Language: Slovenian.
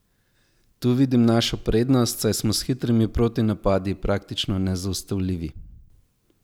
Tu vidim našo prednost, saj smo s hitrimi protinapadi praktično nezaustavljivi.